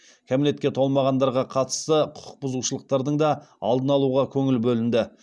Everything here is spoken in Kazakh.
кәмелетке толмағандарға қатысты құқықбұзушылықтардың да алдын алуға көңіл бөлінді